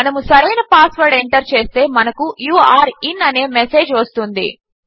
మనము సరైన password enter చేస్తే మనకు యూరే ఇన్ అనే మెసేజ్ వస్తుంది